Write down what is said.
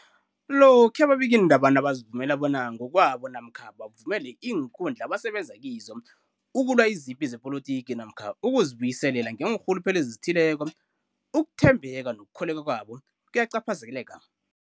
Lokhuya ababikiindaba nabazivumela bona ngokwabo namkha bavumele iinkundla abasebenza kizo ukulwa izipi zepolitiki namkha ukuzi buyiselela ngeenrhuluphelo ezithileko, ukuthembeka nokukholweka kwabo kuyacaphazeleka.